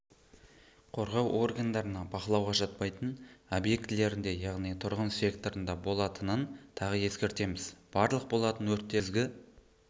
қорғау органдарына бақылауға жатпайтын объектілерінде яғни тұрғын секторында болатынын тағы ескертеміз барлық болатын өрттерді